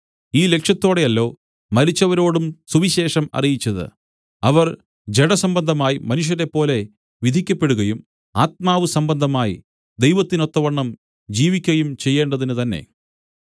ഈ ലക്ഷ്യത്തോടെയല്ലോ മരിച്ചവരോടും സുവിശേഷം അറിയിച്ചത് അവർ ജഡസംബന്ധമായി മനുഷ്യരേപ്പോലെ വിധിക്കപ്പെടുകയും ആത്മാവ് സംബന്ധമായി ദൈവത്തിനൊത്തവണ്ണം ജീവിക്കയും ചെയ്യേണ്ടതിന് തന്നെ